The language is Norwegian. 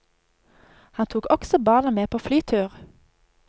Han tok også barna med på flytur.